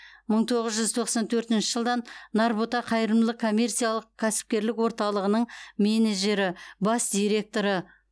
мың тоғыз жүз тоқсан төртінші жылдан нарбота қайырымдылық коммерциялық кәсіпкерлік орталығының менеджері бас директоры